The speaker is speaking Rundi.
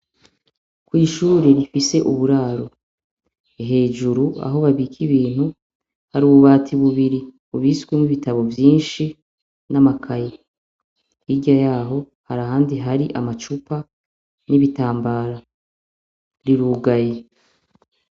kw'ishuri rifise uburaro hejuru aho babike ibintu hari ububati bubiri ubiswe n'ibitabo byinshi n'amakayi igya yaho hari ahandi hari amacupa n'ibitambara rirugaye.